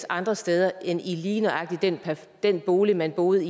andre steder end i lige nøjagtig den bolig man boede